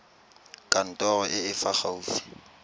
kantorong e e fa gaufi